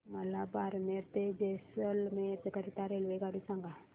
मला बारमेर ते जैसलमेर करीता रेल्वेगाडी सांगा